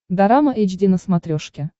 дорама эйч ди на смотрешке